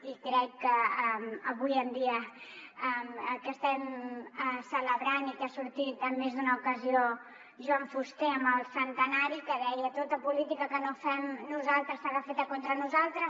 i crec que avui en dia que estem celebrant i que ha sortit en més d’una ocasió joan fuster en el centenari que deia tota política que no fem nosaltres serà feta contra nosaltres